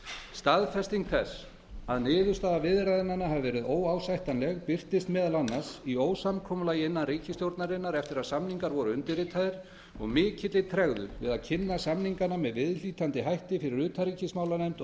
staðfesting þess að niðurstaða viðræðnanna hafi verið óásættanleg birtist meðal annars í ósamkomulagi innan ríkisstjórnarinnar eftir að samningar voru undirritaðir og mikilli tregðu við að kynna samningana með viðhlítandi hætti fyrir utanríkismálanefnd og